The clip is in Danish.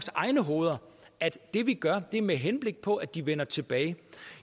at det vi gør er med henblik på at de vender tilbage